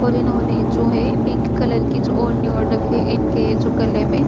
और इन्होंने जो है पिंक कलर की जो ओढ़नी ओढ़ रखी है। इनके जो गले मे --